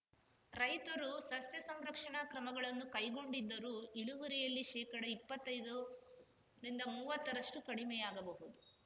ರೈತರು ಸಸ್ಯ ಸಂರಕ್ಷಣಾ ಕ್ರಮಗಳನ್ನು ಕೈಗೊಂಡಿದ್ದರೂ ಇಳುವರಿಯಲ್ಲಿ ಶೇಕಡಇಪ್ಪತ್ತೈದರಿಂದಮುವ್ವತ್ತರಷ್ಟುಕಡಿಮೆಯಾಗಬಹುದು